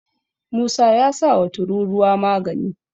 musa ya sa wa tururuwa magani